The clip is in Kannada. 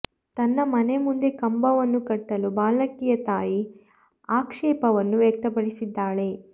ತನ್ನ ಮನೆ ಮುಂದೆ ಕಂಬವನ್ನು ಕಟ್ಟಲು ಬಾಲಕಿಯ ತಾಯಿ ಆಕ್ಷೇಪವನ್ನು ವ್ಯಕ್ತಪಡಿಸಿದ್ದಾಳೆ